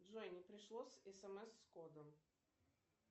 джой не пришло смс с кодом